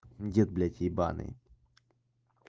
нет блять ебаный